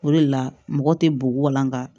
O de la mɔgɔ tɛ bo walanka